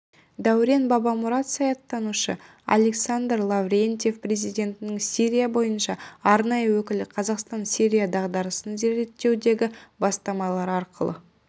дәурен бабамұрат саясаттанушы александр лаврентьев президентінің сирия бойынша арнайы өкілі қазақстан сирия дағдарысын реттеудегі бастамалары арқылы